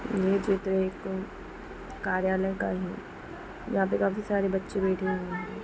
यह चित्र एक कार्यालय का ही है जहा पे काफी सारे बच्चे बैठे हुए है।